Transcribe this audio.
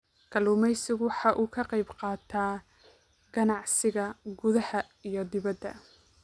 Kalluumaysigu waxa uu ka qayb qaataa ganacsiga gudaha iyo dibadda.